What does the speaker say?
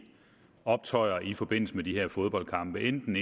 optøjer i forbindelse med de her fodboldkampe enten